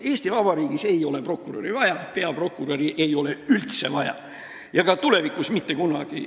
Eesti Vabariigis ei ole peaprokuröri vaja ei nüüd ega ka tulevikus mitte kunagi.